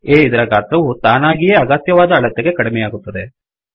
A ಇದರ ಗಾತ್ರವು ತಾನಾಗಿಯೇ ಅಗತ್ಯವಾದ ಅಳತೆಗೆ ಕಡಿಮೆಯಾಗುತ್ತದೆ